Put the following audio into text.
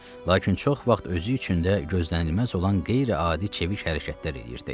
Lakin çox vaxt özü üçün də gözlənilməz olan qeyri-adi çevik hərəkətlər edirdi.